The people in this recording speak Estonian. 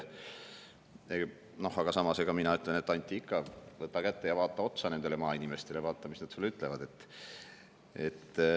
Mina ütlen, et, Anti, võta ikka kätte ja vaata otsa maainimestele,, mis nad sulle ütlevad.